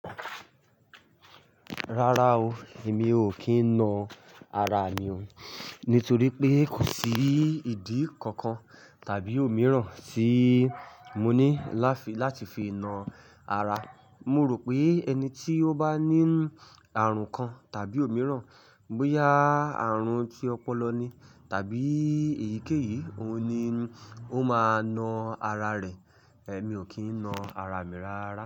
Rárá o, èmi ò kí ń na ara mi o, nítorí pé kò sí ìdí kankan tàbí òmíràn tí mo ní láti fi na ara. Mo rò pé ẹni tí ó bá ní àrùn kan tàbí òmíràn, bóyá àrùn tí ọpọlọ ni tàbí èyíkéyìí, òun ni ó máa na ara rẹ̀. Èmi ò kí ń na ara mi rárá.